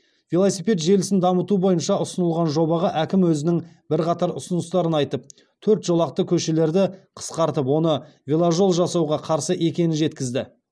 велосипед желісін дамыту бойынша ұсынылған жобаға әкім өзінің бірқатар ұсыныстарын айтып төрт жолақты көшелерді қысқартып оны веложол жасауға қарсы екенін жеткізді